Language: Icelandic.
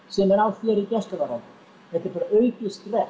sem er á þér í gæsluvarðhaldi þetta er bara aukið stress